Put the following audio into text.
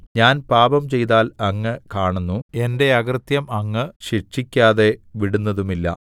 ഞാൻ പാപം ചെയ്താൽ അങ്ങ് കാണുന്നു എന്റെ അകൃത്യം അങ്ങ് ശിക്ഷിക്കാതെ വിടുന്നതുമില്ല